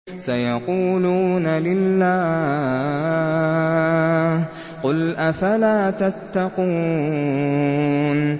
سَيَقُولُونَ لِلَّهِ ۚ قُلْ أَفَلَا تَتَّقُونَ